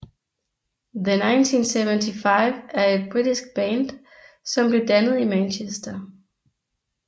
The 1975 er et britisk band som blev dannet i Manchester